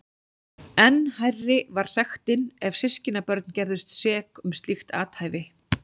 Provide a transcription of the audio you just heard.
Enn hærri var sektin ef systkinabörn gerðust sek um slíkt athæfi.